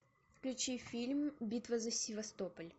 включи фильм битва за севастополь